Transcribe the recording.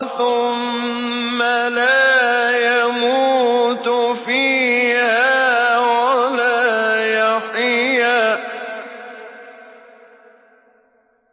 ثُمَّ لَا يَمُوتُ فِيهَا وَلَا يَحْيَىٰ